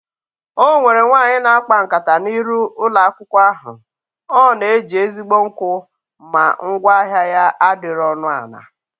Ọnwere nwaanyị na akpa nkata na iru ụlọ akwụkwọ ahụ, ọ na eji ezigbo nkwụ ma ngwa ahịa ya adịrọ ọnụ ana